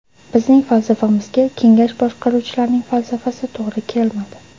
Bizning falsafamizga kengash boshqaruvchilarining falsafasi to‘g‘ri kelmadi.